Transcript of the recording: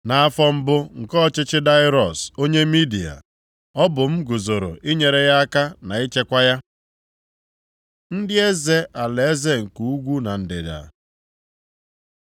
Nʼafọ mbụ nke ọchịchị Daraiọs onye Midia, ọ bụ m guzoro inyere ya aka na ichekwa ya.) Ndị eze alaeze nke ugwu na ndịda